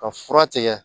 Ka fura tigɛ